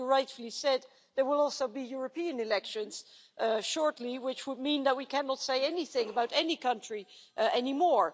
As you rightly said, there will also be European elections shortly, which would mean that we cannot say anything about any country anymore.